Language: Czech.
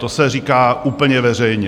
To se říká úplně veřejně.